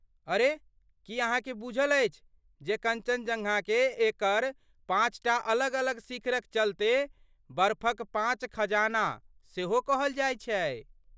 अरे, की अहाँकेँ बूझल अछि जे कञ्चनजङ्गाकेँ एकर पाँचटा अलग अलग शिखरक चलते "बर्फक पाँच खजाना" सेहो कहल जाइत छै?